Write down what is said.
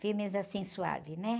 Filmes, assim, suaves, né?